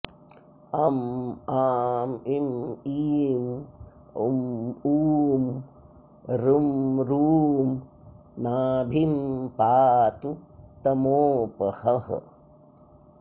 अं आं इं ईं उं ऊं ऋं ॠं नाभिं पातु तमोपहः